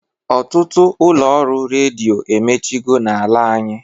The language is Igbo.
Ọtụtụ ụlọ ọrụ redio emechigo na-ala anyị.